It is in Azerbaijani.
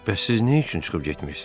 Bəs siz nə üçün çıxıb getmisiz?